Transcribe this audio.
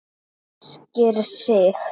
Ræskir sig.